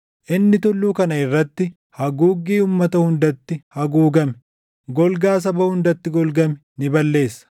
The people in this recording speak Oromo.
Inni tulluu kana irratti, haguuggii uummata hundatti haguugame, golgaa saba hundatti golgame ni balleessa;